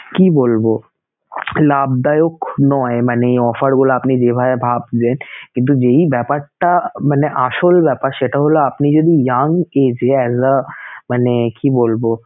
কি বলবো লাভদায়ক নয় মানে offer গুলা আপনি যেভাবে ভাবছেন কিন্তু যেই ব্যাপারটা মানে আসল ব্যাপার সেটা হলো আপনি যদি young age এ as a মানে কি বলবো